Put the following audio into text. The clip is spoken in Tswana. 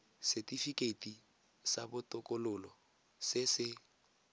setifikeiti sa botokololo se se